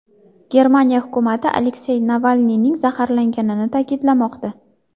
Germaniya hukumati Aleksey Navalniyning zaharlanganini ta’kidlamoqda.